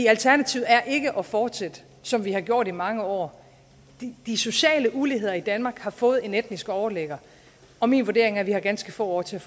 alternativet er ikke at fortsætte som vi har gjort i mange år de sociale uligheder i danmark har fået en etnisk overligger og min vurdering er at vi har ganske få år til